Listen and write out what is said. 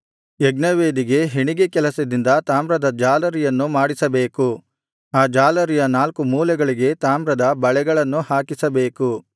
ಯಜ್ಞವೇದಿಗೆ ಹೆಣಿಗೆ ಕೆಲಸದಿಂದ ತಾಮ್ರದ ಜಾಲರಿಯನ್ನು ಮಾಡಿಸಬೇಕು ಆ ಜಾಲರಿಯ ನಾಲ್ಕು ಮೂಲೆಗಳಿಗೆ ತಾಮ್ರದ ಬಳೆಗಳನ್ನು ಹಾಕಿಸಬೇಕು